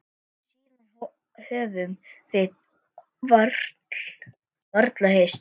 Síðan höfum við varla hist.